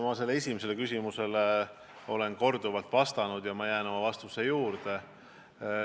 Ma sellele esimesele küsimusele olen korduvalt vastanud ja ma jään oma vastuse juurde.